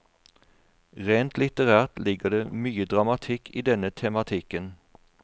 Rent litterært ligger det mye dramatikk i denne tematikken.